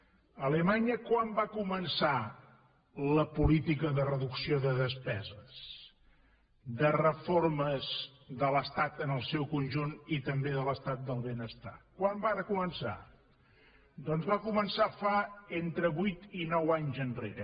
alemanya quan va començar la política de reducció de despeses de reformes de l’estat en el seu conjunt i també de l’estat del benestar quan varen començar doncs va començar fa entre vuit i nou anys enrere